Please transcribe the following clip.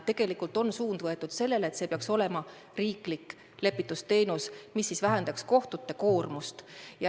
Suund on võetud sellele, et see peaks olema riiklik lepitusteenus, mis vähendaks kohtute koormust.